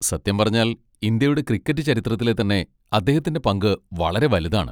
സത്യം പറഞ്ഞാൽ ഇന്ത്യയുടെ ക്രിക്കറ്റ് ചരിത്രത്തിലെ തന്നെ അദ്ദേഹത്തിൻ്റെ പങ്ക് വളരെ വലുതാണ്.